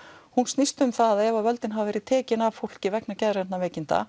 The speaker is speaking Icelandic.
hún snýst um það að ef völdin hafa verið tekin af fólki vegna geðrænna veikinda